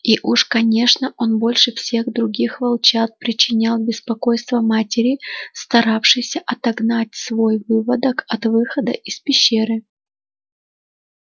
и уж конечно он больше всех других волчат причинял беспокойство матери старавшейся отогнать свой выводок от выхода из пещеры